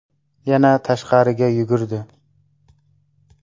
Yana tashqariga yugurdi.